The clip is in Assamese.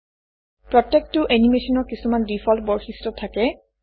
প্ৰত্যেকেটা এনিমেচনৰ কিছুমান ডিফল্ট বৈশিষ্ট্য থাকে